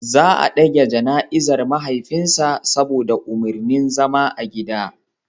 Za a dage jana'izar mahaifin sa saboda umarnin zama a gida.